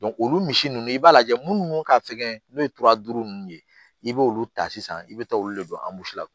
olu misi nunnu i b'a lajɛ munnu ka fɛgɛn n'o ye duuru nunnu ye i b'olu ta sisan i be taa olu de don la